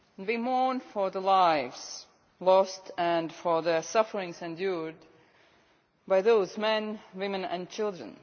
We mourn for the lives lost and for the suffering endured by those men, women, and children.